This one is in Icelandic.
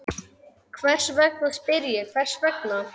Hvers vegna, spyr ég, hvers vegna?